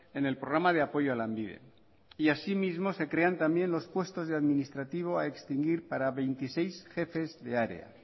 en el programa de apoyo a lanbide y así mismo se crean también los puestos de administrativo a extinguir para veintiséis jefes de área